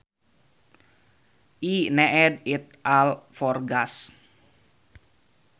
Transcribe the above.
I need it all for gas